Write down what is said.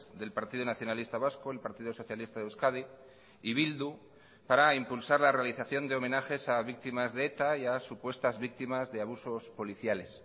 del partido nacionalista vasco el partido socialista de euskadi y bildu para impulsar la realización de homenajes a víctimas de eta y a supuestas víctimas de abusos policiales